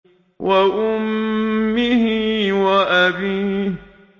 وَأُمِّهِ وَأَبِيهِ